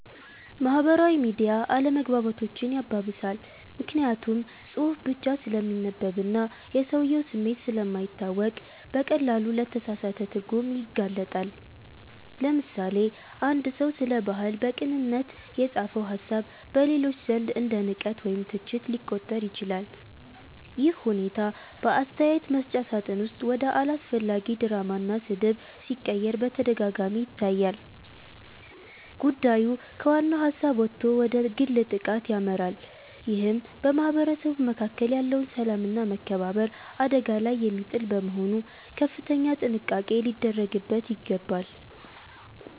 ማህበራዊ ሚዲያ አለመግባባቶችን ያባብሳል። ምክንያቱም ጽሁፍ ብቻ ስለሚነበብና የሰውየው ስሜት ስለማይታወቅ በቀላሉ ለተሳሳተ ትርጉም ይጋለጣል። ለምሳሌ፣ አንድ ሰው ስለ ባህል በቅንነት የጻፈው ሃሳብ በሌሎች ዘንድ እንደ ንቀት ወይም ትችት ሊቆጠር ይችላል። ይህ ሁኔታ በአስተያየት መስጫ ሳጥን ውስጥ ወደ አላስፈላጊ ድራማና ስድብ ሲቀየር በተደጋጋሚ ይታያል። ጉዳዩ ከዋናው ሃሳብ ወጥቶ ወደ ግል ጥቃት ያመራል ይህም በማህበረሰቡ መካከል ያለውን ሰላምና መከባበር አደጋ ላይ የሚጥል በመሆኑ ከፍተኛ ጥንቃቄ ሊደረግበት ይገባል።